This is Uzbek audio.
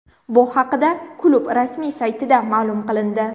Bu haqida klub rasmiy saytida ma’lum qilindi .